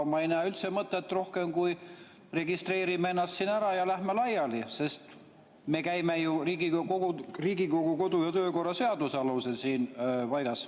Ma ei näe üldse mõtet muul, kui registreerime ennast siin ära ja lähme laiali, sest me käime ju Riigikogu kodu‑ ja töökorra seaduse alusel siin koos.